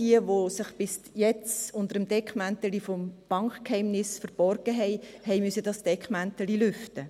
All jene, die sich bis jetzt unter dem Deckmäntelchen des Bankgeheimnisses verborgen haben, mussten dieses Deckmäntelchen lüften.